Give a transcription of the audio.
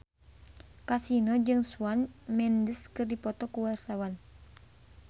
Kasino jeung Shawn Mendes keur dipoto ku wartawan